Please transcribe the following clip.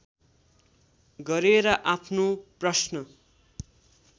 गरेर आफ्नो प्रश्न